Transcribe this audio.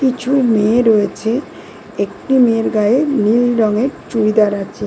কিছু মেয়ে রয়েছে একটি মেয়ের গায়ে নীল রঙের চুড়িদার আছে।